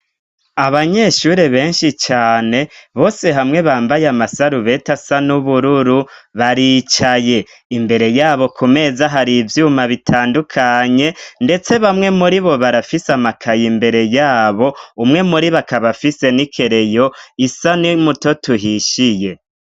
Abanyeshuri benshi cane bose hamwe bambaye amasarubeta asa n'ubururu baricaye imbere yabo ku meza hari ivyuma bitandukanye, ndetse bamwe muri bo barafise amakaya imbere yabo umwe muri bakabafise n'i kereyo isa n'muto tuhishiye.